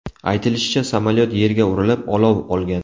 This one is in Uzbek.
Aytilishicha, samolyot yerga urilib, olov olgan.